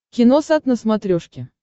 киносат на смотрешке